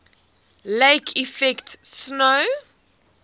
lake effect snow